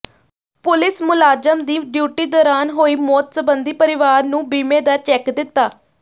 police ਮੁਲਾਜ਼ਮ ਦੀ duty ਦੌਰਾਨ ਹੋਈ ਮੌਤ ਸਬੰਧੀ ਪਰਿਵਾਰ ਨੂੰ ਬੀਮੇ ਦਾ ਚੈੱਕ ਦਿੱਤਾ